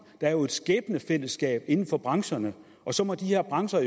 der er jo et skæbnefællesskab inden for brancherne og så må de her brancher